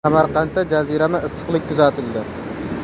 Samarqandda jazirama issiqlik kuzatildi.